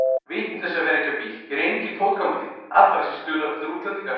Vitleysa að vera ekki á bíl, hér er enginn fótgangandi, allra síst dularfullir útlendingar.